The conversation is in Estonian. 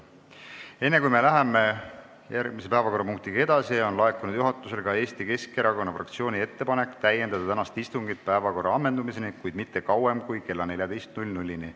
Enne kui me läheme edasi järgmise päevakorrapunktiga, ütlen, et juhatusele on laekunud Eesti Keskerakonna fraktsiooni ettepanek pikendada tänast istungit päevakorra ammendumiseni, kuid mitte kauem kui kella 14-ni.